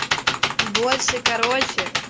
больше короче